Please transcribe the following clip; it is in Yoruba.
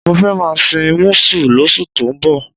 Mo fẹ́ máa sin músù lóṣù tó ń bọ̀.